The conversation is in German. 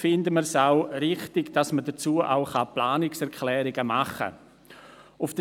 Deshalb ist es wichtig, dazu Planungserklärungen machen zu können.